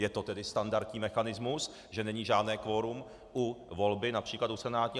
Je to tedy standardní mechanismus, že není žádné kvorum u volby například do Senátu.